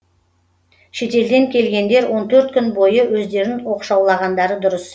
шетелден келгендер он төрт күн бойы өздерін оқшаулағандары дұрыс